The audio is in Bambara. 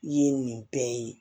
Ye nin bɛɛ ye